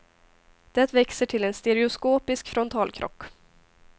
Det växer till en stereoskopisk frontalkrock.